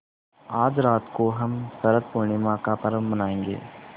आज रात को हम शरत पूर्णिमा का पर्व मनाएँगे